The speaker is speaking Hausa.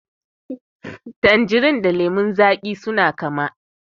Tanjirin da lemon zaƙi suna kama.